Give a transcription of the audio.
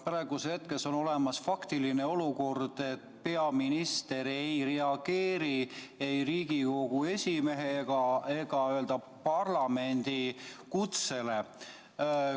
Praeguses hetkes on olemas faktiline olukord, et peaminister ei reageeri ei Riigikogu esimehe ega parlamendi kutsele.